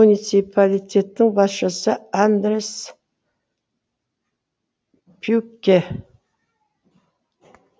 муниципалитеттің басшысы андреас пюкке